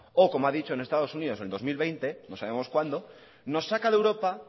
o como ha dicho en estados unidos en el dos mil veinte no sabemos cuándo nos saca de europa